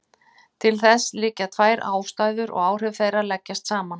Til þess liggja tvær ástæður og áhrif þeirra leggjast saman.